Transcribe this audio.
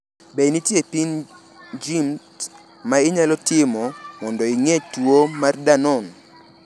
Be nitie pim mag genes ma inyalo timo mondo ing’e tuo mar Danon?